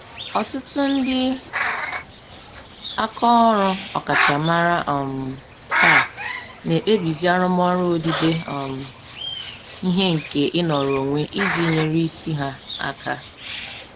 Ọtụtụ ndị aka ọrụ ọkachamara um taa na-ekpebizi arụmọrụ odide um ihe nke ịnọrọ onwe iji nyere isi ha aka.